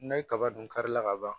N'a ye kaba dun kari la kaban